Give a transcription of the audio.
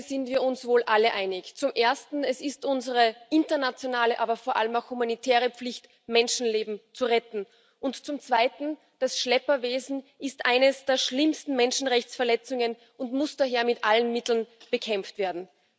Über zwei Dinge sind wir uns wohl alle einig Zum Ersten ist es unsere internationale, aber vor allem auch humanitäre Pflicht, Menschenleben zu retten, und zum Zweiten ist das Schlepperwesen eine der schlimmsten Menschenrechtsverletzungen und muss daher mit allen Mitteln bekämpft werden.